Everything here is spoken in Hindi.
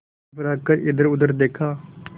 घबरा कर इधरउधर देखा